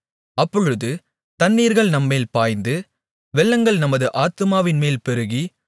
அப்பொழுது தண்ணீர்கள் நம்மேல் பாய்ந்து வெள்ளங்கள் நமது ஆத்துமாவின்மேல் பெருகி